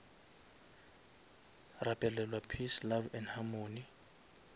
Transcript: rapelelwa peace love and harmony